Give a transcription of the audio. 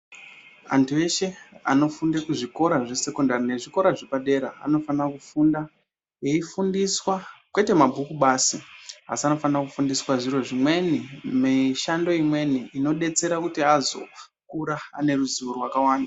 Antu eshe anofunde kuzvikora zvesekondari nezvikora zvepadera anofanira kufunda eifundiswa kwete mabhuku basi asi anofanira kufundiswa zvimweni mishando imweni inodetsera kuti azokura ane ruzivo rwakawanda.